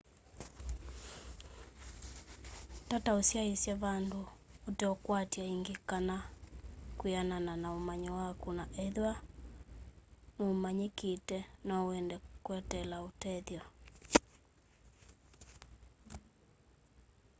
tata ũsyaĩsya vandũ ũteũkwatw'a ĩngĩ kana kwĩanana na ũmanyi waku na ethĩwa n'ũmanyĩkĩte no wende kweteela ũtethyo